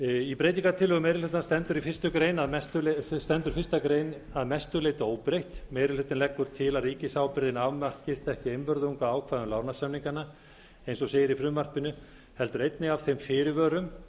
í breytingartillögum meiri hlutans stendur fyrstu grein að mestu leyti óbreytt meiri hlutinn leggur til að ríkisábyrgðin afmarkist ekki einvörðungu af ákvæðum lánasamninganna eins og segir í frumvarpinu heldur einnig af þeim fyrirvörum